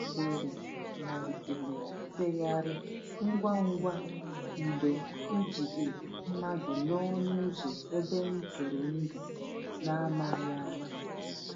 Asịrị malitere ifeyari ngwa ngwa mgbe e jidere mmadụ n’ọnụ ụzọ ebe ntụrụndụ, n’amaghị ama.